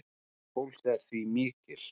Neyð fólks er því mikil